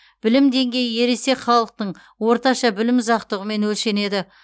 білім деңгейі ересек халықтың орташа білім ұзақтығымен өлшенеді